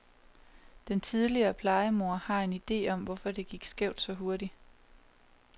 Den tidligere plejemor har en ide om, hvorfor det gik skævt så hurtigt.